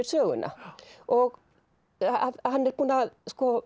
söguna og hann er búinn að